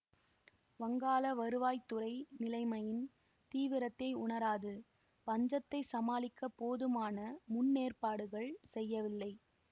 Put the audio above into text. வங்காள வருவாய்த் துறை நிலைமையின் தீவிரத்தை உணராது பஞ்சத்தை சமாளிக்க போதுமான முன்னேற்பாடுகள் செய்யவில்லை